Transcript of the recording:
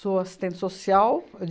Sou assistente social.